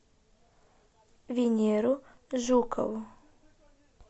венеру жукову